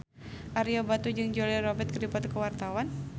Ario Batu jeung Julia Robert keur dipoto ku wartawan